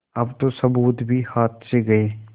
अब तो सबूत भी हाथ से गये